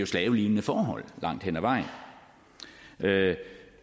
slavelignende forhold langt hen ad vejen